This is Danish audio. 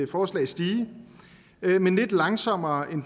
forslag stige men lidt langsommere end